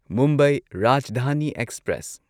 Mumbai Rajdhani express